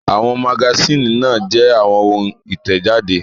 Àwọn magasínì náà jẹ́ àwọn ohun ìtẹ̀jáde.